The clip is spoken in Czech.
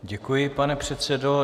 Děkuji, pane předsedo.